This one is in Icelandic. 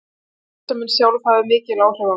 Starfsemin sjálf hafði mikil áhrif á mig.